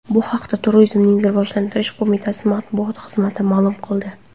Bu haqda Turizmni rivojlantirish qo‘mitasi matbuot xizmati ma’lum qildi .